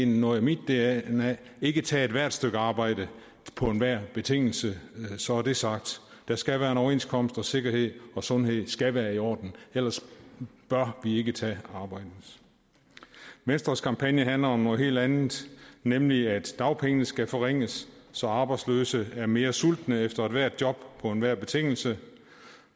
noget af mit dna ikke tage ethvert stykke arbejde på enhver betingelse så er det sagt der skal være en overenskomst og sikkerhed og sundhed skal være i orden ellers bør vi ikke tage arbejdet venstres kampagne handler om noget helt andet nemlig at dagpengene skal forringes så arbejdsløse er mere sultne efter ethvert job på enhver betingelse